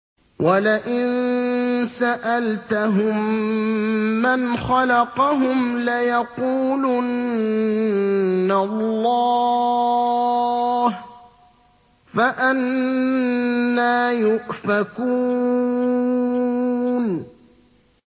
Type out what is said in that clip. وَلَئِن سَأَلْتَهُم مَّنْ خَلَقَهُمْ لَيَقُولُنَّ اللَّهُ ۖ فَأَنَّىٰ يُؤْفَكُونَ